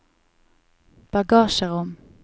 bagasjerom